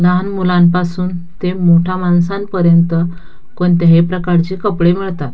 लहान मुलांपासून ते मोठ्या माणसांपर्यंत कोणत्याही प्रकारचे कपडे मिळतात.